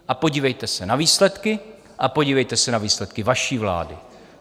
A podívejte se na výsledky a podívejte se na výsledky vaší vlády.